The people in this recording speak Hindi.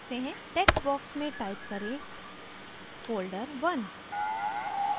text box में type करें folderone